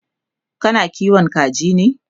kana kiwon kaji ne?